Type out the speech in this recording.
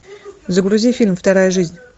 загрузи фильм вторая жизнь